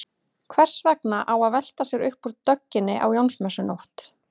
Hvers vegna á að velta sér upp úr dögginni á Jónsmessunótt?